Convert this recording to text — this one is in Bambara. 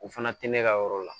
O fana tɛ ne ka yɔrɔ la